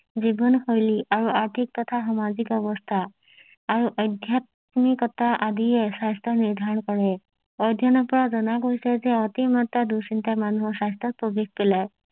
জীৱন শৈলী আৰু আৰ্থিক তথা সামাজিক অৱস্থা আৰু আধ্যাত্মিকতা আদিয়ে স্বাস্থ্য নিৰ্ধাৰণ কৰে অধ্যনৰ পৰা জনা গৈছে যে অতি মাত্ৰা দু চিন্তা মানুহৰ স্বাস্থ্যৰ প্ৰভেদ পেলাই